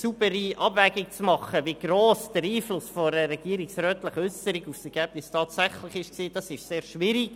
Im Nachhinein eine saubere Abwägung vorzunehmen, wie gross der Einfluss einer regierungsrätlichen Äusserung auf das Ergebnis tatsächlich war, ist sehr schwierig.